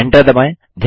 enter दबाएँ